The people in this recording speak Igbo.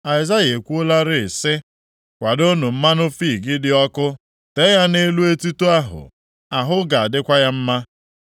Aịzaya ekwuolarị sị, “Kwadoonụ mmanụ fiig dị ọkụ tee ya nʼelu etuto ahụ, ahụ ga-adịkwa ya mma.”